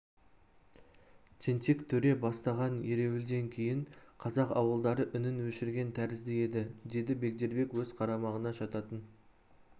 тентек төре бастаған ереуілден кейін қазақ ауылдары үнін өшірген тәрізді еді деді бегдербек өз қарамағына жататын